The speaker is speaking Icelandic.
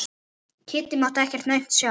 Kiddi mátti ekkert aumt sjá.